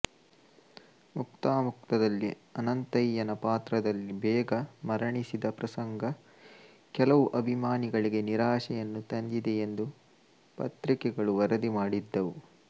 ಮುಕ್ತಾಮುಕ್ತಾದಲ್ಲಿ ಅನಂತಯ್ಯನ ಪಾತ್ರದಲ್ಲಿ ಬೇಗ ಮರಣಿಸಿದ ಪ್ರಸಂಗ ಕೆಲವು ಅಭಿಮಾನಿಗಳಿಗೆ ನಿರಾಶೆಯನ್ನು ತಂದಿದೆಯೆಂದು ಪತ್ರಿಕೆಗಳು ವರದಿಮಾಡಿದ್ದವು